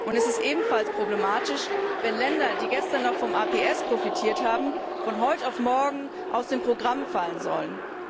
Es ist ebenfalls problematisch, wenn Länder, die gestern noch vom APS profitiert haben, von heute auf morgen aus dem Programm fallen sollen.